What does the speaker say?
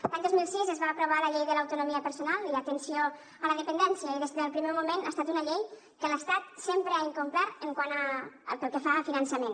l’any dos mil sis es va aprovar la llei de l’autonomia personal i atenció a la dependència i des del primer moment ha estat una llei que l’estat sempre ha incomplert pel que fa al finançament